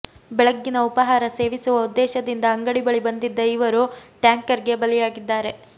ಬೆಳಗ್ಗಿನ ಉಪಹಾರ ಸೇವಿಸುವ ಉದ್ದೇಶದಿಂದ ಅಂಗಡಿ ಬಳಿ ಬಂದಿದ್ದ ಇವರು ಟ್ಯಾಂಕರ್ಗೆ ಬಲಿಯಾಗಿದ್ದಾರೆ